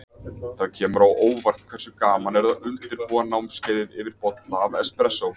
Það kemur á óvart hversu gaman er að undirbúa námskeiðið yfir bolla af espressó.